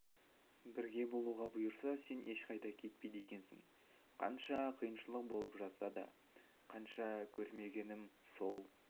бірге болуға бұйырса сен ешқайда кетпейді екенсің қанша қиыншылық болып жатса да қанша көрмегенім сол